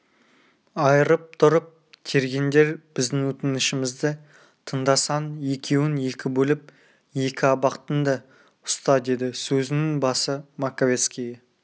айырып тұрып тергеңдер біздің өтінішімізді тыңдасаң екеуін екі бөліп екі абақтыңда ұста деді сөзінің басы маковецкийге